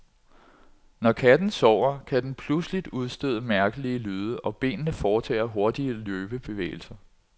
Når katten sover, kan den pludseligt udstøde mærkelige lyde og benene foretager hurtige løbebevægelser.